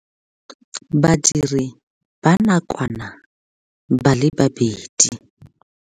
Badiri ba nakwana ba le 2.